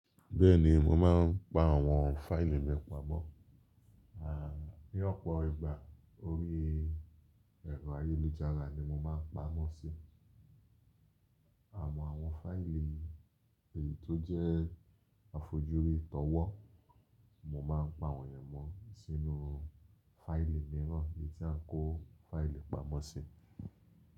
Bẹ́ẹ̀ni mo máa ń pa àwọn fáìlì mi pamọ́, à ní ọ̀pọ̀ ìgbà orí ẹ̀rọ ayélujára ni mo máa ń pa wọ́n sí. Àmọ́ àwọn fáìlì èyí tó jẹ́ àfojúrí tọwọ́, mo máa ń pa wọ̀nyẹn mọ́ sínú fáìlì míràn èyí tí à ń kó fáìlì pamọ́ sí.